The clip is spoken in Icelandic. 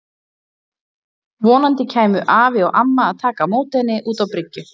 Vonandi kæmu afi og amma að taka á móti henni út á bryggju.